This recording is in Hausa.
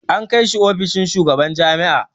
An kai shi ofishin shugaban jami'a.